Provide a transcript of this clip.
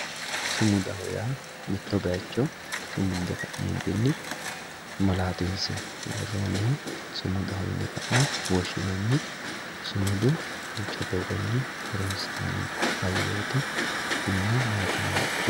Sumudaho yaa mitto bayicho sumunde ka'neentinni malatinse woroniha sumudaho yine ka'ne woshinanni, sumudu duucha doogonni horonsinanni hayooti tinino maati yiniha ikkiro